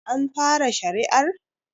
An fara shari'ar?